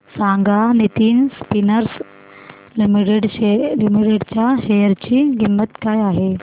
सांगा Nitin spinners limited च्या share ची किंमत काय आहे